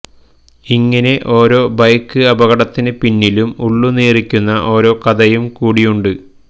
ഇങ്ങിനെ ഓരോ ബൈക്ക് അപകടത്തിന് പിന്നിലും ഉള്ളു നീറിക്കുന്ന ഓരോ കഥയും കൂടിയുണ്ട്